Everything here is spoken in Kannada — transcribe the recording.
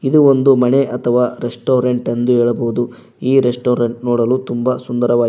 ಇದು ಒಂದು ಮನೆ ಅಥವಾ ರೆಸ್ಟೋರೆಂಟ್ ಎಂದು ಹೇಳಬಹುದು ಈ ರೆಸ್ಟೋರೆಂಟ್ ನೋಡಲು ತುಂಬಾ ಸುಂದರವಾಗಿ--